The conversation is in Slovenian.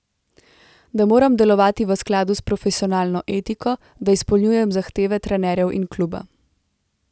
Da moram delovati v skladu s profesionalno etiko, da izpolnjujem zahteve trenerjev in kluba.